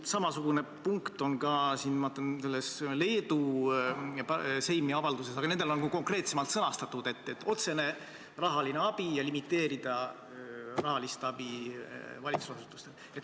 Samasisuline punkt on ka Leedu Seimi avalduses, aga nendel on konkreetsemalt sõnastatud, et tegu otsese rahalise abiga ja limiteeritakse rahalist abi valitsusasutustele.